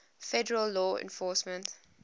federal law enforcement